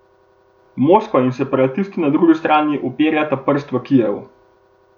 Moskva in separatisti na drugi strani uperjata prst v Kijev.